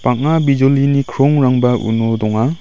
bang·a bijolini krongrangba uno donga.